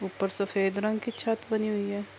اپر سفید رنگ کی چھت بنی ہوئی ہے۔